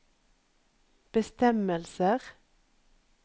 bestemmelser